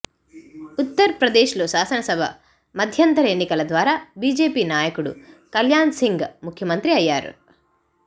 ఉత్తర్ ప్రదేశ్లో శాసనసభ మధ్యంతర ఎన్నికల తర్వాత బీజేపీ నాయకుడు కల్యాణ్సింగ్ ముఖ్యమంత్రి అయ్యారు